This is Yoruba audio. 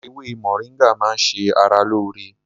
Ewé moringa máa ń ṣe ara lóore